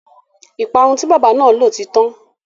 Ìparun tí bábà náà lò ti tán.